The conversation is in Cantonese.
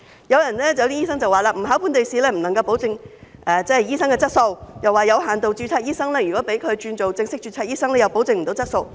有些醫生說，若不考本地試，不能夠保證醫生的質素，又說如果讓有限度註冊醫生轉做正式註冊醫生，同樣無法保證質素。